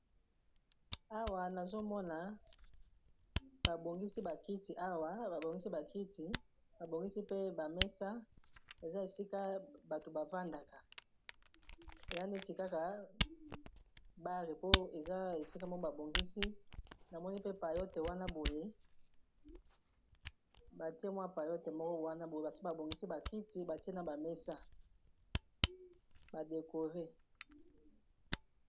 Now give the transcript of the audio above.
Awa nazo mona ba bongisi bakiti awa. Ba bongisi ba kiti, ba bongisi pe ba mesa. Eza esika bato bavandaka. Eya neti kaka bare, po eza esika moko ba bongisi. Na moni mpe, payote wana boye. Batie mwa payote moko wana boye. Basi ba bongisi ba kiti, batie na ba mesa ba dekore.